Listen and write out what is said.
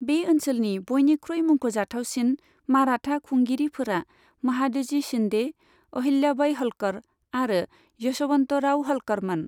बे ओनसोलनि बयनिख्रुइ मुंख'जाथावसिन माराथा खुंगिरिफोरा महादजी शिन्दे, अहिल्याबाइ हल्कर आरो यशबन्तराव हल्करमोन।